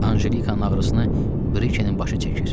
Anjelikanın ağrısını Brikenin başı çəkir.